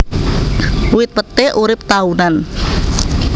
Wit peté urip taunan